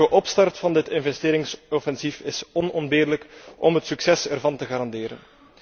Een vlugge opstart van dit investeringsoffensief is onontbeerlijk om het succes ervan te garanderen.